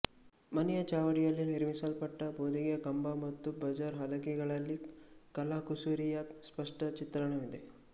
ಮನೆಯ ಚಾವಡಿಯಲ್ಲಿ ನಿರ್ಮಿಸಲ್ಪಟ್ಟ ಭೋದಿಗೆಯ ಕಂಬ ಮತ್ತು ಬಾಜಾರ್ ಹಲಗೆಗಳಲ್ಲಿ ಕಲಾಕುಸುರಿಯ ಸ್ಪಷ್ಟ ಚಿತ್ರಣವಿದೆ